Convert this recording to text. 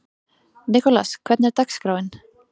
Nikolas, hvernig er dagskráin?